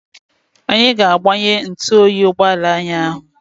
Anyị ga-agbanye ntụoyi ụgbọala anyị ahụ.